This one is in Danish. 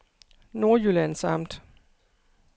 Nordjyllands Amt